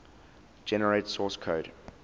generate source code